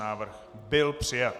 Návrh byl přijat.